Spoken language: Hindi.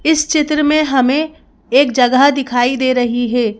इस चित्र में हमें एक जगह दिखाई दे रही है।